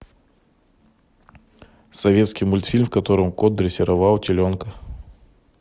советский мультфильм в котором кот дрессировал теленка